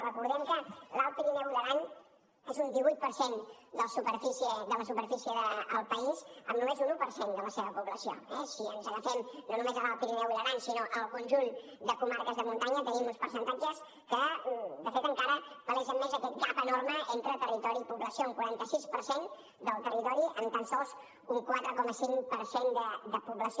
recordem que l’alt pirineu i l’aran són un divuit per cent de la superfície del país amb només un un per cent de la seva població eh si ens agafem no només a l’alt pirineu i l’aran sinó al conjunt de comarques de muntanya tenim uns percentatges que de fet encara palesen més aquest gap enorme entre territori i població un quaranta sis per cent del territori amb tan sols un quatre coma cinc per cent de població